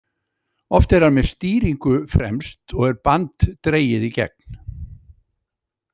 Oft er hann með stýringu fremst og er band dregið í gegn.